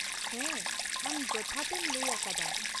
ᱦᱮᱸ, ᱟᱢ ᱡᱚᱛᱷᱟᱛ ᱮᱢ ᱞᱟᱹᱭ ᱟᱠᱟᱫᱟ ᱾